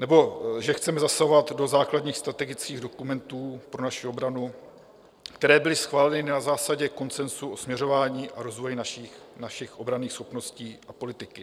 Nebo že chceme zasahovat do základních strategických dokumentů pro naši obranu, které byly schváleny na základě konsenzu o směřování a rozvoji našich obranných schopností a politiky?